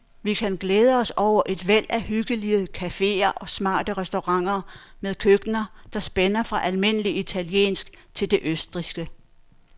Vi kan glæde os over et væld af hyggelige caféer og smarte restauranter med køkkener, der spænder fra almindelig italiensk til det østrigske.